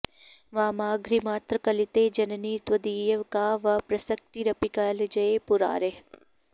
वामाङ्घ्रिमात्रकलिते जननि त्वदीये का वा प्रसक्तिरपि कालजये पुरारेः